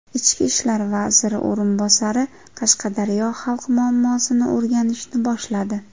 Ichki ishlar vaziri o‘rinbosari Qashqadaryo xalqi muammosini o‘rganishni boshladi.